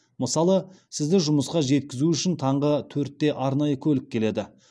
мысалы сізді жұмысқа жеткізу үшін таңғы төртте арнайы көлік келеді